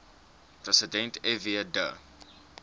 president fw de